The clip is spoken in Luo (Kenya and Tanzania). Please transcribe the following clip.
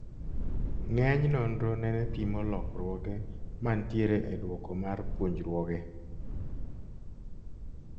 Nge'eny nonro nene pimo lokruoge man tiere e dwoko mar puonjruoge